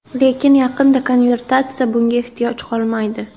Lekin, yaqinda konvertatsiya bunga ehtiyoj qolmaydi.